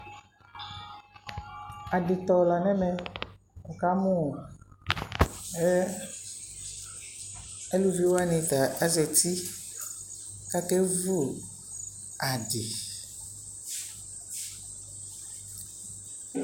aditɔ lanʋ ɛmɛ kʋ wʋkamʋ alʋvi wani ta azati kʋ akɛ vʋ adi